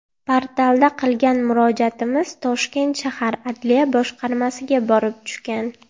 Portalda qilgan murojaatimiz Toshkent shahar Adliya boshqarmasiga borib tushgan.